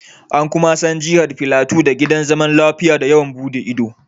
An kuma san Jihar Filato da Gidan Zaman Lafiya da yawon buɗe ido